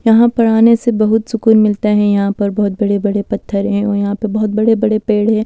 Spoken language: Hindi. यहां पर आने से बहुत सुकून मिलता है यहां पर बहुत बड़े-बड़े पत्थर हैं और यहां पर बहुत बड़े-बड़े पेड़ हैं।